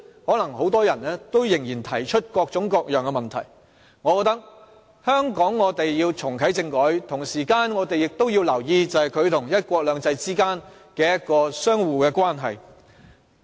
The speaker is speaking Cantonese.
可能很多人仍然會提出各種各樣的問題，所以我們須重啟政改，亦同時留意它與"一國兩制"相互的關係。